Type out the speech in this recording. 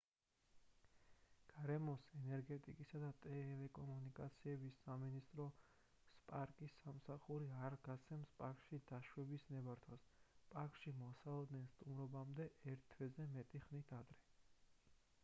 გარემოს ენერგეტიკისა და ტელეკომუნიკაციების სამინისტროს პარკის სამსახური არ გასცემს პარკში დაშვების ნებართვას პარკში მოსალოდნელ სტუმრობამდე ერთ თვეზე მეტი ხნით ადრე